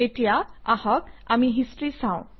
এতিয়া আহক আমি হিষ্টৰী চাওঁ